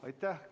Aitäh!